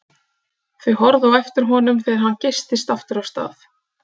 Þau horfðu á eftir honum þegar hann geystist aftur af stað.